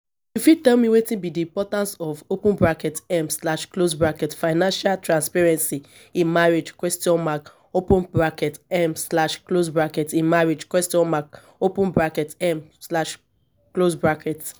you fit tell me wetin be di importance of open bracket um slash close bracket financial transparency in marriage question mark open bracket um slash close bracket in marriage question mark open bracket um slash close bracket